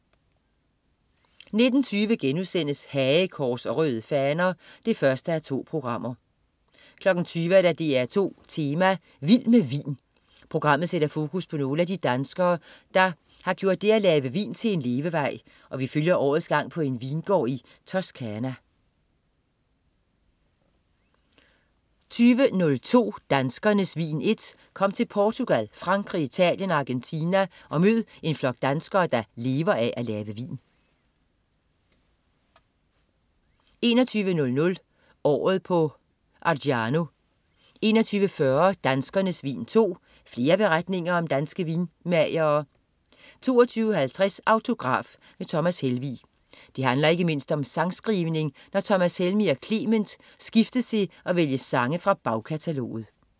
19.20 Hagekors og Røde Faner 1:2* 20.00 DR2 Tema: Vild med vin. Pogrammet sætter fokus på nogle af de danskere, der har gjort det at lave vin til en levevej og vi følger årets gang på en vingård i Toscana 20.02 Danskernes Vin I. Kom med til Portugal, Frankrig, Italien og Argentina og mød en flok danskere, der lever af at lave vin 21.00 Året på Argiano 21.40 Danskernes vin II. Flere beretninger om danske vinmagere 22.50 Autograf: Thomas Helmig. Det handler ikke mindst om sangskrivning, når Thomas Helmig og Clement skiftes til at vælge sange fra bagkataloget